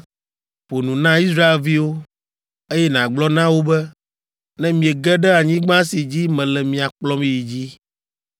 “Ƒo nu na Israelviwo, eye nàgblɔ na wo be, ‘Ne miege ɖe anyigba si dzi mele mia kplɔm yi dzi,